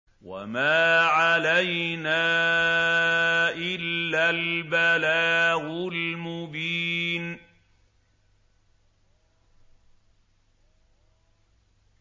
وَمَا عَلَيْنَا إِلَّا الْبَلَاغُ الْمُبِينُ